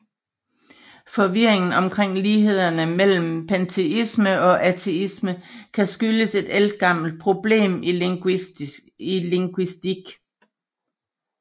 Forvirringen omkring lighederne mellem panteisme og ateisme kan skyldes et ældgammelt problem i linguistik